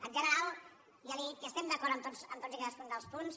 en general ja li he dit que estem d’acord amb tots i cadascun dels punts